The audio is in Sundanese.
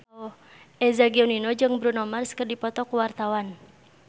Eza Gionino jeung Bruno Mars keur dipoto ku wartawan